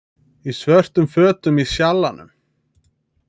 Í svörtum fötum í Sjallanum